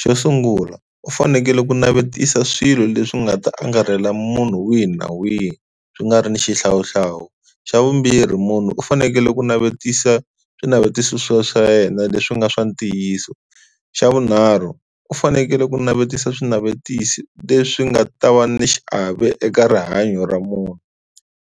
xo sungula u fanekele ku navetisa swilo leswi nga ta angarhela munhu wihi na wihi swi nga ri ni xihlawuhlawu, xa vumbirhi munhu u fanekele ku navetisa swinavetiso swa swa yena leswi nga swa ntiyiso, xa vunharhu u fanekele ku navetisa swinavetisi leswi nga ta va ni xiave eka rihanyo ra munhu.